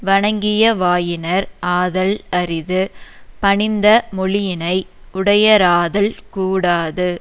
வணங்கிய வாயினர் ஆதல் அரிது பணிந்த மொழியினை உடையராதல் கூடாது